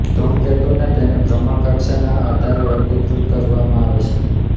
ધૂમકેતુને તેની ભ્રમણકક્ષાના આધારે વર્ગીકૃત કરવામાં આવે છે